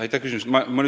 Aitäh küsimuse eest!